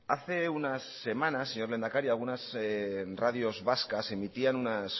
hace unas semanas señor lehendakari algunas radios vascas emitían unas